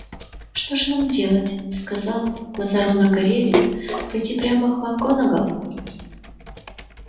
что же нам делать сказал глаза рона горели пойти прямо к макгонагалл